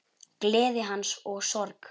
Gleði hans og sorg.